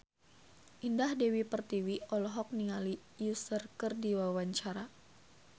Indah Dewi Pertiwi olohok ningali Usher keur diwawancara